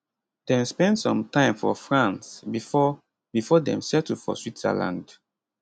dem spend some time for france bifor bifor dem settle for switzerland